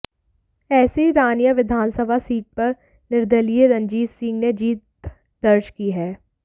ऐसे ही रानिया विधानसभा सीट पर निर्दलीय रंजीत सिंह ने जीत दर्ज की है